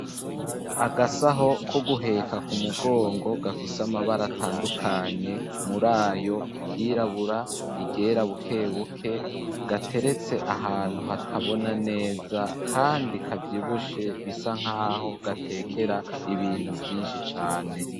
Agasaho ko guheka ku mugongo gafise amabara atandukanye mur’ayo iryirabura ,iryera bukebuke gateretse ahantu hatabona neza kandi kavyibushe bisa nkaho gatekera ibintu vyinshi cane.